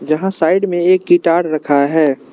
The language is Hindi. जहां साइड में एक गिटार रखा है।